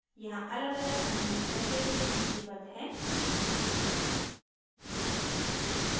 यहाँ अलगअलग amino acid सूचीबद्ध हैं